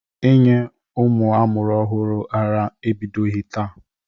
Inye ụmụ a mụrụ ọhụrụ ara ebidoghi taa.